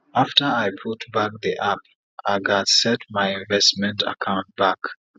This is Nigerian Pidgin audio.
afta i put back d app i gats set my investment akant back